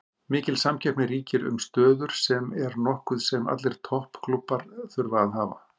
Mikil samkeppni ríkir um stöður sem er nokkuð sem allir topp klúbbar þurfa að hafa.